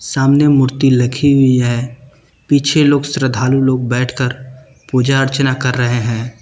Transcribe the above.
सामने मूर्ति लखी हुई है पीछे लोग श्रद्धालु लोग बैठकर पूजा अर्चना कर रहे हैं।